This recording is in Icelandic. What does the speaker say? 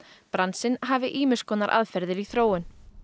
bransinn hafi ýmis konar aðferðir í þróun